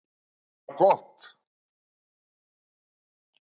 Sem var gott.